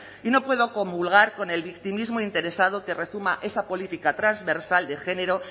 y no puedo comulgar con el victimismo interesado que rezuma esa política transversal de género